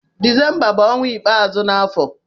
Desemba bu ọnwa ikpazụ n'afọ